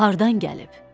Hardan gəlib?